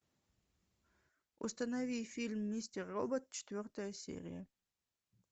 установи фильм мистер робот четвертая серия